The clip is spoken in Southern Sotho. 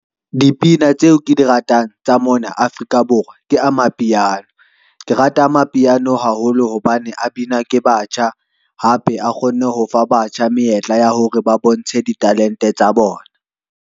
Dipina tseo ke di ratang tsa mona Afrika Borwa ke amapiano. Ke rata amapiano haholo hobane a binwa ke batjha, hape a kgonne ho fa batjha menyetla ya hore ba bontshe di talente tsa bona.